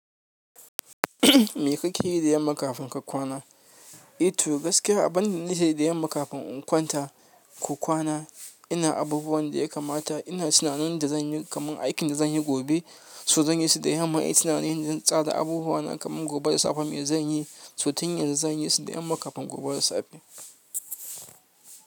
Me kake yi da yamma kafin ka kwana? Eh to gaskiya abinda nake da yamma kafin in kwanta ko kwana ina abubuwan da ya kamata. Ina tunanin da zan yi kamar aikin da zan yi gobe, so zan yi su da yamma. Ina tunanin na tsara abubuwa na kamar gobe da safe me zan yi, so tun yana zan yi su da yamma kafin gobe da safe.